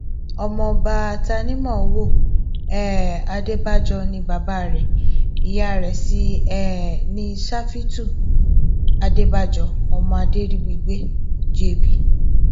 ọmọọba tanimówo um adébàjọ ni bàbá rẹ ìyá rẹ sí um ní ṣáfítù adébàjọ ọmọ adèrìbígbé jb